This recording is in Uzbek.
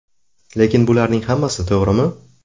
Lekin bularning hammasi to‘g‘rimi?